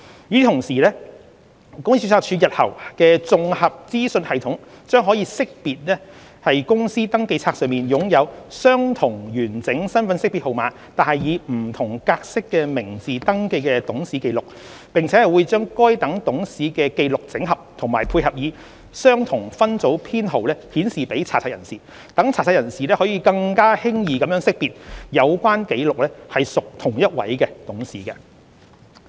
與此同時，公司註冊處日後的綜合資訊系統將可識別於公司登記冊上擁有相同完整身份識別號碼但以不同格式的名字登記的董事紀錄，並會將該等董事的紀錄整合及配以相同分組編號顯示給查冊人士，讓查冊人士可更輕易地識別有關紀錄屬同一董事。